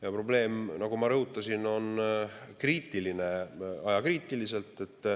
Ja probleem, nagu ma rõhutasin, on kriitiline, ajakriitiline.